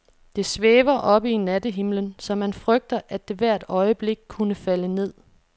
Det svæver oppe i nattehimlen, så man frygter, at det hvert øjeblik kunne falde ned.